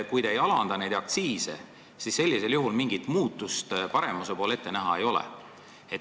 Kui te ei alanda neid aktsiise, siis mingit muutust paremuse poole ette näha ei ole.